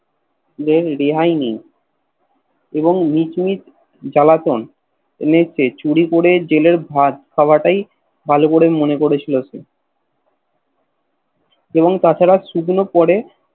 এর রেহাই নেই এবং মিট মিট জালাতন এলেটে চুরি করে জেলের ভাত খাওয়াতই ভাল করে মনে করেছিল সে এবং তাছাড়া সূদন পরে